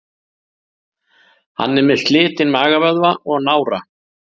Hann er með slitinn magavöðva og nára.